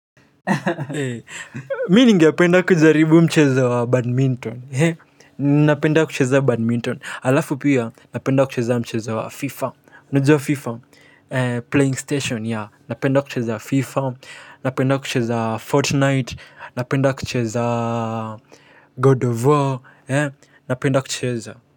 Mimi ningependa kujaribu mchezo wa badminton. Napenda kucheza badminton. Alafu pia napenda kucheza mchezo wa fifa unajua fifa Playing station. Napenda kucheza Fifa. Napenda kucheza FortNight napenda kucheza God of War. Napenda kucheza.